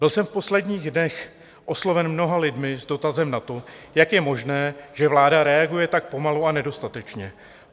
Byl jsem v posledních dnech osloven mnoha lidmi s dotazem na to, jak je možné, že vláda reaguje tak pomalu a nedostatečně.